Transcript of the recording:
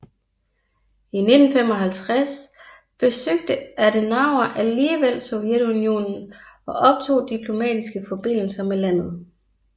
I 1955 besøgte Adenauer alligevel Sovjetunionen og optog diplomatiske forbindelser med landet